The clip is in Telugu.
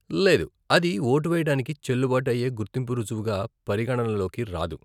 లేదు, అది ఓటు వేయడానికి చెల్లుబాటు అయ్యే గుర్తింపు రుజువుగా పరిగణనలోకి రాదు.